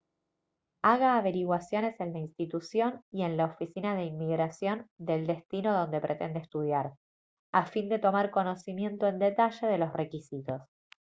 haga averiguaciones en la institución y en la oficina de inmigración del destino donde pretende estudiar a fin de tomar conocimiento en detalle los requisitos